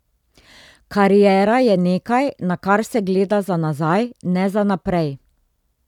Kariera je nekaj, na kar se gleda za nazaj, ne za naprej.